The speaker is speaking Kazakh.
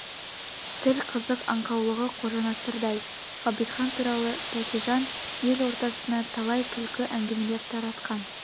тіл қызық аңқаулығы қожанасырдай ғабитхан туралы тәкежан ел ортасына талай күлкі әңгімелер таратқан